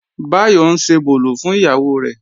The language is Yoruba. Báyọ̀ ń ṣebòlò fún ìyàwó rẹ̀